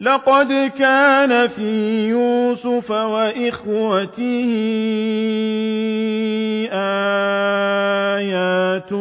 ۞ لَّقَدْ كَانَ فِي يُوسُفَ وَإِخْوَتِهِ آيَاتٌ